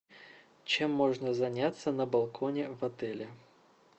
чем можно заняться на балконе в отеле